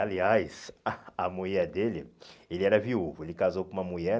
Aliás, a a mulher dele, ele era viúvo, ele casou com uma mulher.